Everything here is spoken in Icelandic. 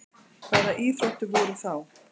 Hvaða íþróttir voru þá?